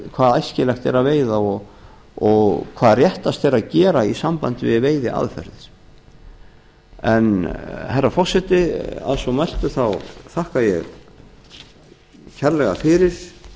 hvað æskilegt er að veiða og hvað réttast er að gera í sambandi við veiðiaðferðir herra forseti að svo mæltu þakka ég kærlega yfir